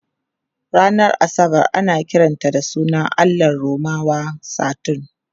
Ranar Asabar ana kiran sunan allahn Romawa Saturn.